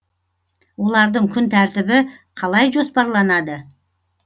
олардың күн тәртібі қалай жоспарланады